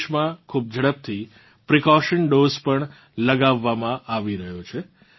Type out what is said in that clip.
દેશમાં ખૂબ ઝડપથી પ્રિકોશન ડોઝ પણ લગાવવામાં આવી રહ્યો છે